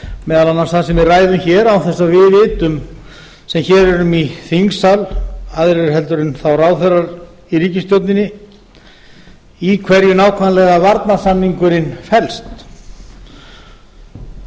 meðal annars það sem við ræðum hér án þess að við sem nú erum í þingsal aðrir en ráðherrar í ríkisstjórninni vitum nákvæmlega í hverju varnarsamningurinn felst það hefur